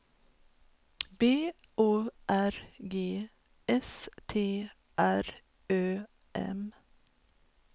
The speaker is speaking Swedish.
B O R G S T R Ö M